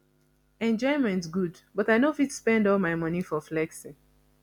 enjoyment good but i no fit spend all my money for flexing